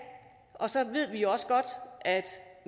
og så ved vi også godt at